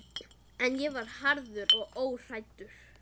En ég var harður og óhræddur.